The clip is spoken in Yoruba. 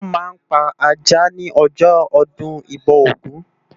Wòn ma n pá àjá ni òjò òdùn ibò ógùn